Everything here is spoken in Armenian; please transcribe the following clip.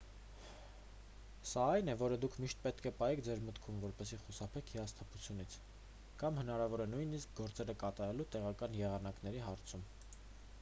սա այն է որը դուք միշտ պետք է պահեք ձեր մտքում որպեսզի խուսափեք հիասթափությունից կամ հնարավոր է նույնիսկ ՝ գործերը կատարելու տեղական եղանակների հարցում։